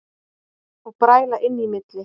Og bræla inn í milli.